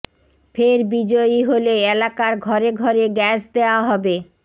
ফের বিজয়ী হলে এলাকার ঘরে ঘরে গ্যাস দেয়া হবে